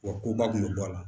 Wa koba kun bɛ bɔ a la